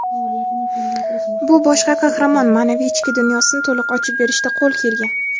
bu bosh qahramon ma’naviy ichki dunyosini to‘liq ochib berishda qo‘l kelgan.